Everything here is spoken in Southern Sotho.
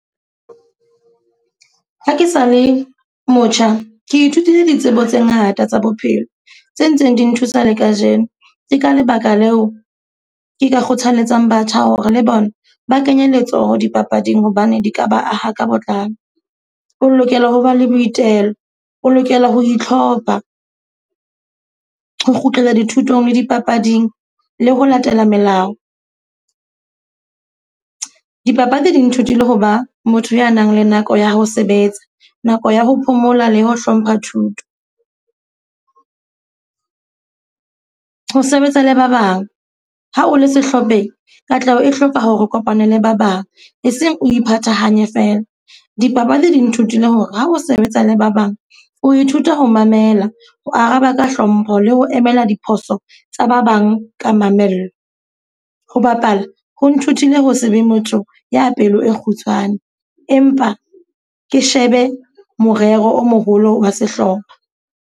Ha ke sa le motjha, ke ithutile ditsebo tse ngata tsa bophelo. Tse ntseng di nthusa le kajeno. Ke ka lebaka leo ke ka kgothalletsang batjha hore le bona ba kenye letsoho dipapading hobane di ka ba aha ka botlalo. O lokela ho ba le boitelo, o lokela ho itlhopha, ho kgutlela dithutong le dipapading le ho latela melao. Dipapadi di nthutile ho ba motho ya nang le nako ya ho sebetsa, nako ya ho phomola le ho hlompha thuto. ho sebetsa le ba bang, ha o le sehlopheng katleho e hloka hore o kopane le ba bang e seng o iphathahanye feela. Dipapadi di nthutile hore ha o sebetsa le ba bang, o ithuta ho mamela le ho araba ka hlompho le ho emela diphoso tsa ba bang ka mamello. Ho bapala, ho nthutile ho se be motho ya pelo e kgutshwane. Empa ke shebe morero o moholo wa sehlopha.